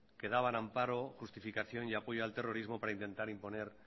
que daban amparo justificación y apoyo al terrorismo para intentar imponer